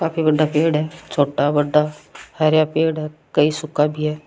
काफी बड़ा पेड़ है छोटा बड़ा हरा पेड़ है कई सूखा भी है।